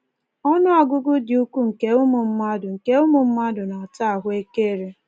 Ọnụọgụgụ dị ukwuu nke ụmụ mmadụ nke ụmụ mmadụ na-ata ahụekere.